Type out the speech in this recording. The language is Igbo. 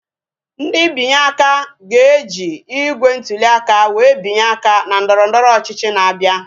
Ndị binye aka ga-eji igbe ntụli aka wee binye aka na ndọrọndọrọ ọchịchị na-abịa